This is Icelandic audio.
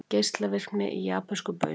Geislavirkni í japönskum baunum